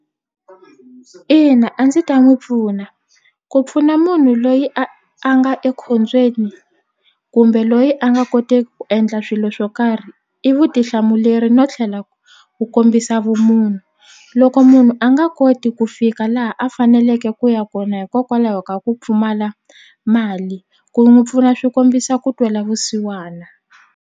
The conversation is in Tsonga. Ina a ndzi ta n'wi pfuna ku pfuna munhu loyi a a nga ekhombyeni kumbe loyi a nga koteki ku endla swilo swo karhi i vutihlamuleri no tlhela ku kombisa vumunhu loko munhu a nga koti ku fika laha a faneleke ku ya kona hikokwalaho ka ku pfumala mali ku n'wi pfuna swi kombisa ku twela vusiwana.